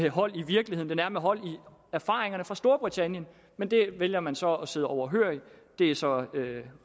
hold i virkeligheden den har hold i erfaringerne fra storbritannien men det vælger man så at sidde overhørig det er så